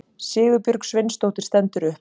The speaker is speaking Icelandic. Sigurbjörg Sveinsdóttir stendur upp.